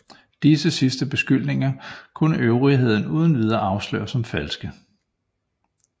Disse sidste beskyldninger kunne øvrigheden uden videre afsløre som falske